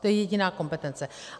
To je jediná kompetence.